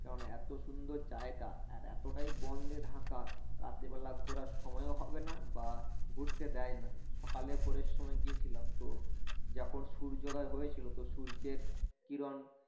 কেননা এত সুন্দর জায়গা আর এত টাই বন দিয়ে ঢাকা রাতের বেলা ঘোরার সময়ও হবেনা বা ঘুরতে দেয় না সকালে ভোরের সময় গিয়েছিলাম তো যখন সূর্যোদয় হয়েছিল তো সূর্যের কিরণ